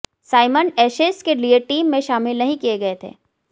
Symonds Ashes के लिए team में शामिल नहीं किए गए थे